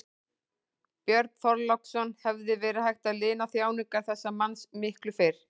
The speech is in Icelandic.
Björn Þorláksson: Hefði verið hægt að lina þjáningar þessa manns miklu fyrr?